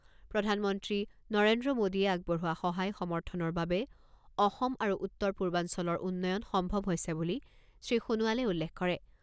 প্ৰধানমন্ত্ৰী নৰেন্দ্ৰ মোদীয়ে আগবঢ়োৱা সহায় সমৰ্থনৰ বাবে অসম আৰু উত্তৰ পূৰ্বাঞ্চলৰ উন্নয়ন সম্ভৱ হৈছে বুলি শ্ৰীসোণোৱালে উল্লেখ কৰে।